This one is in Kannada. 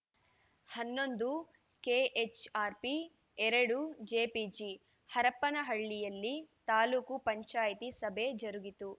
ಹನ್ನೊಂದು ಕೆಎಚ್‌ಆರ್‌ಪಿ ಎರಡು ಜೆಪಿಜಿ ಹರಪನಹಳ್ಳಿಯಲ್ಲಿ ತಾಲೂಕು ಪಂಚಾಯಿತಿ ಸಭೆ ಜರುಗಿತು